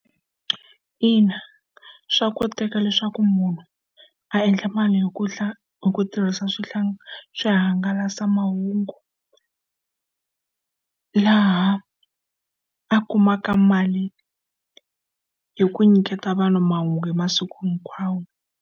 Ina, swa koteka leswaku munhu a endla mali hi ku hi ku tirhisa swihangalasamahungu laha a kumaka mali hi ku nyiketa vanhu mahungu hi masiku hinkwawo.